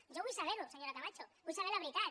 jo vull saber ho senyora camacho vull saber la veritat